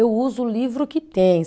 Eu uso o livro que tem.